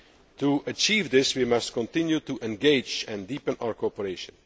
To achieve this, we must continue to engage and deepen our cooperation.